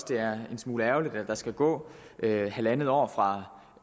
det er en smule ærgerligt at der skal gå halvandet år fra